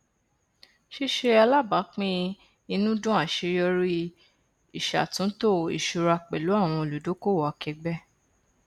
ṣíṣe alábàápín inúúdùn àṣeyọrí ìṣàtúntò ìṣúra pẹlú àwọn olùdókòwò akẹẹgbẹ